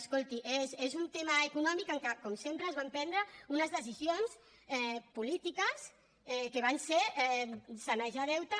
escolti és un tema econòmic en què com sempre es van prendre unes decisions polítiques que van ser sanejar deute